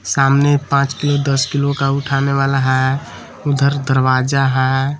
सामने पांच किलो दस किलो का उठाने वाला है उधर दरवाजा है।